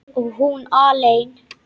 Og hún alein.